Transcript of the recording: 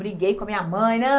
Briguei com a minha mãe.